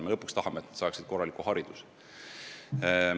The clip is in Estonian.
Me lõpuks ikkagi tahame, et nad saaksid korraliku hariduse.